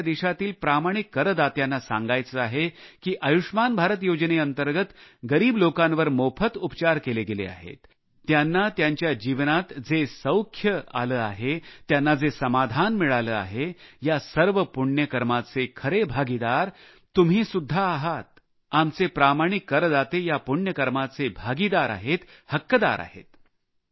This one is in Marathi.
आणि मला आपल्या देशातील प्रामाणिक करदात्यांना सांगायचे आहे की आयुष्मान भारत योजनेअंतर्गत गरीब लोकांवर मोफत उपचार केले गेले आहेत त्यांना त्यांच्या जीवनात जो आनंद आला आहे त्यांना जे समाधान मिळाले आहे या सर्व पुण्य कर्माचे खरे हक्कदार तुम्ही आहात आमचे प्रामाणिक करदाते या पुण्य कर्माचे हक्कदार आहेत